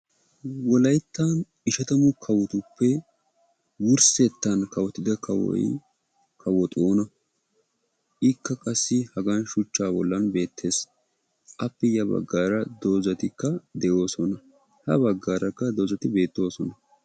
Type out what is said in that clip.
wolayittan ishatamu kawotuppe wurssettan kawotida kawoy kawo xoona. ikka qassi hagan shuchchaa bollan beettes. appe ya baggaara dozzatikka de'oosona. ha baggaarakka dozzati beettoosona.